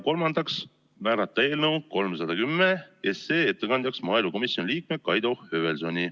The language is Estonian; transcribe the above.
Kolmandaks, määrata eelnõu 310 ettekandjaks maaelukomisjoni liige Kaido Höövelson.